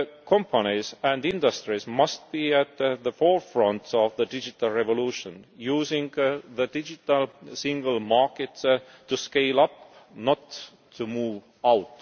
companies and industries must be at the forefront of the digital revolution using the Digital Single Market to scale up, not to move